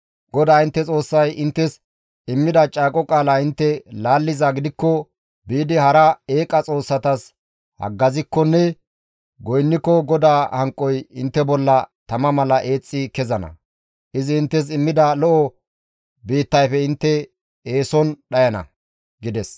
GODAA intte Xoossay inttes immida caaqo qaala intte laallizaa gidikko, biidi hara eqqa xoossatas haggazikkonne goynniko GODAA hanqoy intte bolla tama mala eexxi kezana; izi inttes immida lo7o biittayfe intte eeson dhayana» gides.